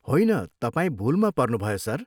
होइन, तपाईँ भुलमा पर्नुभयो, सर।